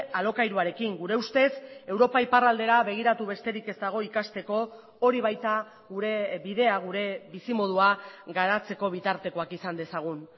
alokairuarekin gure ustez europa iparraldera begiratu besterik ez dago ikasteko hori baita gure bidea gure bizimodua garatzeko bitartekoak izan dezagun